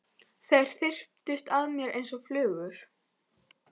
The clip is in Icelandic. Þeir þyrptust að mér einsog flugur.